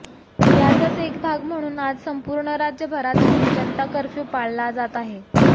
याचाच एक भाग म्हणून आज संपूर्ण राज्यभरात जनता कर्फ्यू पाळला जात आहे